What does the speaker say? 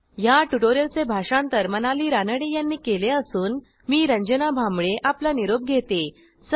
ह्या ट्युटोरियलचे भाषांतर मनाली रानडे यांनी केले असून मी रंजना भांबळे आपला निरोप घेते160